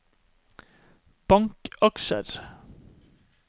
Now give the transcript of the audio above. bankaksjer